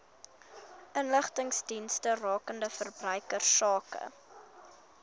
inligtingsdienste rakende verbruikersake